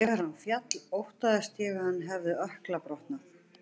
Þegar hann féll óttaðist ég að hann hafi ökkla brotnað.